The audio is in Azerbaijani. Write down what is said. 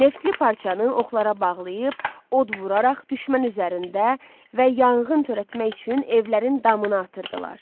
Neftli parçanı oxlara bağlayıb, od vuraraq düşmən üzərində və yanğın törətmək üçün evlərin damına atırdılar.